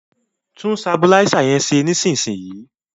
Tún sabuláísà yẹn ṣe níìsín!